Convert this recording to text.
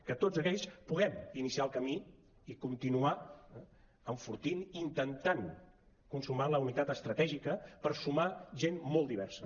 que tots aquells puguem iniciar el camí i continuar enfortint i intentant consumar la unitat estratègica per sumar gent molt diversa